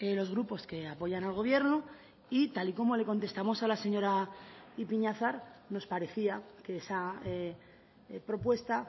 los grupos que apoyan al gobierno y tal y como le contestamos a la señora ipiñazar nos parecía que esa propuesta